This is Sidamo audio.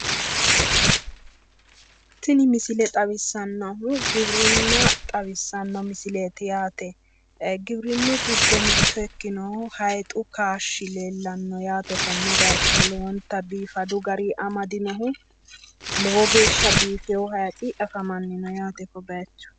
tini misile xawissannohu giwirinna xawissanno yaate giwinnu giddo mitto ikkinohu hayiixu kaashshi leellanno yaate konne bayicho lowonta biifadu garinni amade noohu lowo geeshsha biifewo hayiixi afamanno yaate kobayiicho.